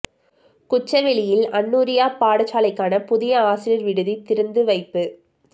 குச்சவெளியில் அந் நூரியா பாடசாலைக்கான புதிய ஆசிரியர் விடுதி திறந்து வைப்பு